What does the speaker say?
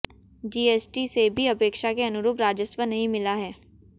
GST से भी अपेक्षा के अनुरूप राजस्व नहीं मिला है